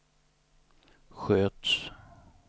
sköts